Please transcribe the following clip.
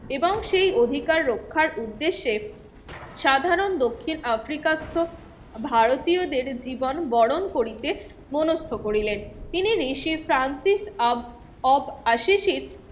এবং সেই অধিকার রক্ষার উদ্দেশ্যে সাধারণ দক্ষিণ আফ্রিকাত ভারতীয়দের জীবন বরণ করিতে মনস্থ করিলেন তিনি ঋষিপ্রান্তিক আব অব আসিসিট